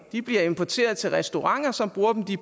de bliver importeret til restauranter som bruger dem de